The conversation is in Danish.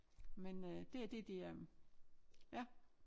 Men øh det er det de øh ja